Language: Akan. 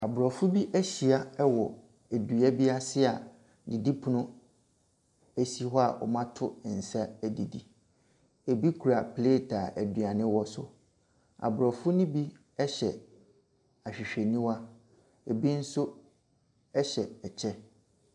Aborɔfo bi ahyia ɛwɔ edua bi ase a didipono esi hɔ a wɔmo ato nsa edidi. Ebi kura plet a aduane wɔ so. Aborɔfo no bi hyɛ ahwehwɛniwa, ebi nso ɛhyɛ kyɛ.